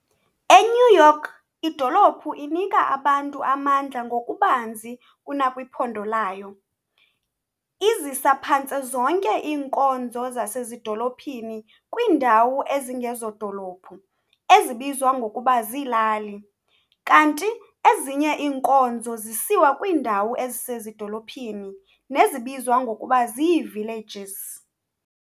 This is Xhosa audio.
E-New York, idolophu inika abantu amandla ngokubanzi kunakwiphondo lalyo, iziza phantse zonke inkonzo zasezidolophini kwindawo ezingezodolophu, ezibizwa ngokuba ziilali, kanti ezinye iinkonzo zisiwa kwiindawo ezisedolophini, nezibizwa ngokuba zii"villages".